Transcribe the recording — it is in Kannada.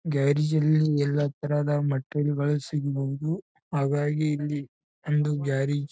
ಗ್ಯಾರೇಜ್ ಗಳಲ್ಲಿ ಎಲ್ಲಾ ತರಹದ ಮೆಟಿರಿಯಲ್ ಸಿಗಬಹುದು. ಹಾಗಾಗಿ ಇಲ್ಲಿ ಒಂದು ಗ್ಯಾರೇಜ್ --